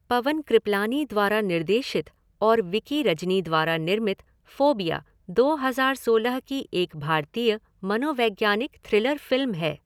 पवन कृपलानी द्वारा निर्देशित और विकी रजनी द्वारा निर्मित फ़ोबिया दो हज़ार सोलह की एक भारतीय मनोवैज्ञानिक थ्रिलर फ़िल्म है।